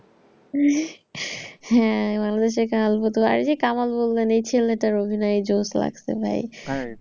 হ্যাঁ বাংলাদেশের কামাল এই যে কামাল বললেন এই ছেলেটির অভিনয় যৌশ লাগছে ভাই। তাই?